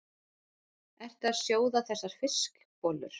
Ertu að sjóða þessar fiskbollur?